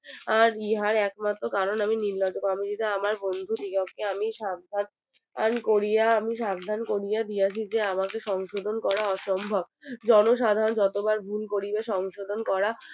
আর ইহার একমাত্র কারণ আমি নির্লজ্জ কারণ আমি যদি আমার বন্ধু কে আমি সাবধান করিয়া আমি সাবধান করিয়া দিয়েছি যে আমাকে সংশোধন করা অসম্ভব জনসাধারন যতবার ভুল করিবে সংশোধন করা